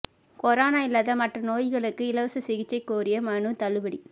corona இல்லாத மற்ற நோய்களுக்கு இலவச சிகிச்சை கோரிய மனு தள்ளுபடி